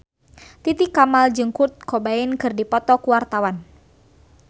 Titi Kamal jeung Kurt Cobain keur dipoto ku wartawan